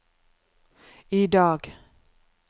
idag